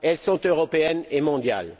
Elles sont européennes et mondiales.